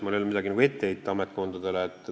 Mul ei ole ametkondadele midagi ette heita.